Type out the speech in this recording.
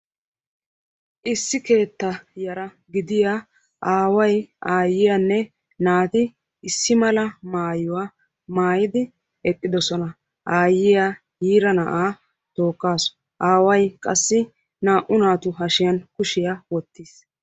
Issi keetta yara gidiyaa aaway aayyiyaanne naati issippe eqqidoosona; aayyiya yiira na'aa tookkaasu; aaway qassi naa"u naatu hashiyaan kushiyaan wottiis.